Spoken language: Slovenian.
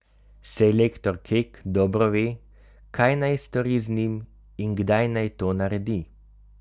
Selektor Kek dobro ve, kaj naj stori z njim in kdaj naj to naredi.